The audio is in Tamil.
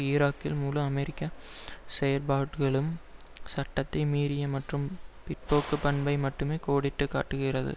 ஈராக்கில் முழு அமெரிக்க செயற்பாடுகளும் சட்டத்தை மீறிய மற்றும் பிற்போக்குப் பண்பை மட்டுமே கோடிட்டு காட்டுகிறது